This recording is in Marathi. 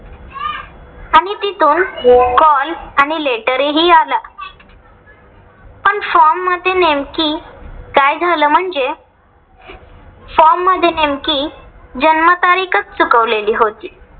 तिथून call आणि letter हि आला. पण form मध्ये नेमकी काय झाल म्हणजे? form नेमकी जन्म तारीखच चुकवलेली होती.